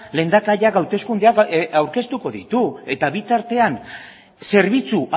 lehendakariak hauteskundeak aurkeztuko ditu eta bitartean zerbitzu